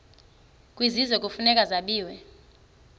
kwisizwe kufuneka zabiwe